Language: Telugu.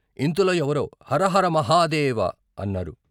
ఇంతలో ఎవరో "హర హర మహాదేవ " అన్నారు.